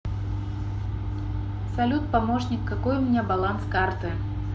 салют помощник какой у меня баланс карты